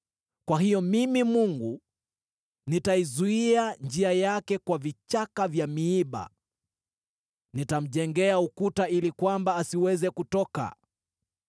Kwa hiyo mimi Mungu nitaizuia njia yake kwa vichaka vya miiba, nitamjengea ukuta ili kwamba asiweze kutoka.